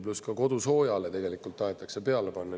Pluss ka kodusoojale tegelikult tahetakse peale panna.